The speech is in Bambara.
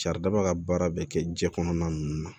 Saridaba ka baara bɛ kɛ jiɲɛ kɔnɔna ninnu na